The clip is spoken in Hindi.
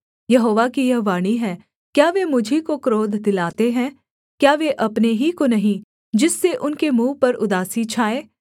यहोवा की यह वाणी है क्या वे मुझी को क्रोध दिलाते हैं क्या वे अपने ही को नहीं जिससे उनके मुँह पर उदासी छाए